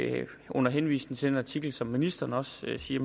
i det under henvisning til den artikel som ministeren også siger